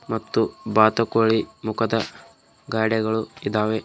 ಮತ್ತು ಬಾತುಕೋಳಿ ಮುಖದ ಗಾಡೆಗಳು ಇದಾವೆ.